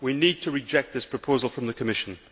we need to reject this proposal from the Commission